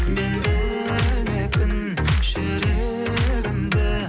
мен білмеппін жүрегімді